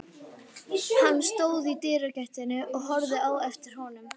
Hann stóð í dyragættinni og horfði á eftir honum.